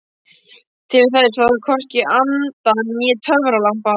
Til þess þarf hvorki anda né töfralampa.